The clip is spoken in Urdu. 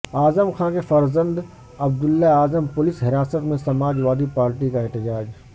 اعظم خان کے فرزند عبداللہ اعظم پولیس حراست میں سماج وادی پارٹی کا احتجاج